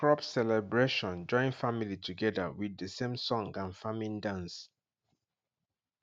crop celebration join family together with the same song and farming dance